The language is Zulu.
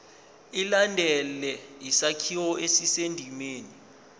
ilandele isakhiwo esisendimeni